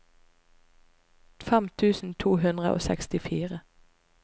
fem tusen to hundre og sekstifire